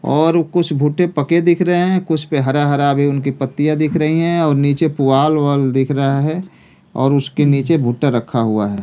और कुछ भुट्टे पके दिख रहे हैं। कुछ पे हरा हरा भी उनकी पत्तियां दिख रही है और नीचे पुवाल-उवाल दिख रहा है और उसके नीचे भुट्टा रखा हुआ है।